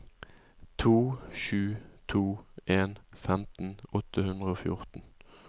to sju to en femten åtte hundre og fjorten